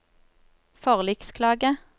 forliksklage